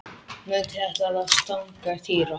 Nautið ætlaði að stanga Týra.